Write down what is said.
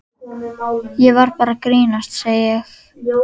Ég var bara að grínast, segi ég.